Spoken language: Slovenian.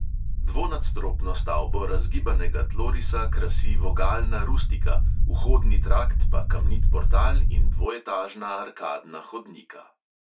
Dvonadstropno stavbo razgibanega tlorisa krasi vogalna rustika, vhodni trakt pa kamnit portal in dvoetažna arkadna hodnika.